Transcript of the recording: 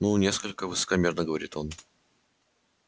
ну несколько высокомерно говорит он